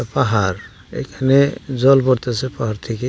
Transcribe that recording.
পাহাড় এইখানে জল পড়তাছে পাহাড় থেকে।